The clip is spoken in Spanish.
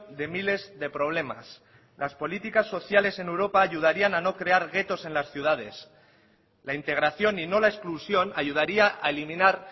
de miles de problemas las políticas sociales en europa ayudarían a no crear guetos en las ciudades la integración y no la exclusión ayudaría a eliminar